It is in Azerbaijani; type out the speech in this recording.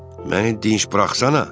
Məni dinc buraxsanə!